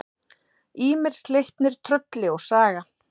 Ýmir, Sleipnir, Trölli og Saga.